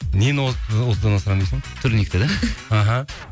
нені отыздан асырамын дейсің турникті де іхі